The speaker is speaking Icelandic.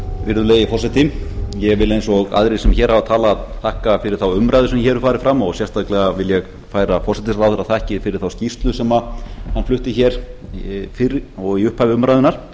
virðulegi forseti ég vil eins og aðrir sem hér hafa talað þakka fyrir þá umræðu sem hér hefur farið fram og sérstaklega vil ég færa forsætisráðherra þakkir fyrir þá skýrslu sem hann flutti hér fyrr og í upphafi umræðunnar